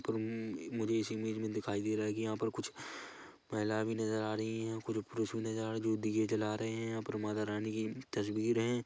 मुझे इस इमेज में दिखाई दे रहा है की कुछ महिला भी नजर आ रही है कुछ पुरुष भी नजर आ रहे हैं जो दिए जला रहे है यहाँ माता रानी की तस्वीर है।